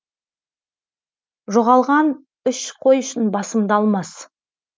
жоғалған үш қой үшін басымды алмас